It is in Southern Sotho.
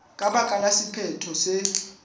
ka baka la sephetho se